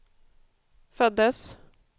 föddes